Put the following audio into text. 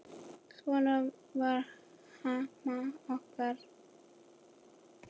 Svona var mamma okkar.